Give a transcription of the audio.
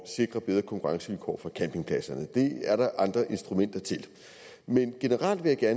sikre bedre konkurrencevilkår for campingpladserne det er der andre instrumenter til men generelt vil jeg